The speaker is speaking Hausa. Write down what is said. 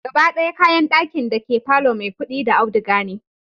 Gaba d'aya kayan d'akin dake palor Maikudi da auduga ne